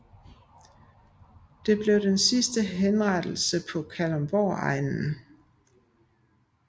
Det blev den sidste henrettelse på Kalundborgegnen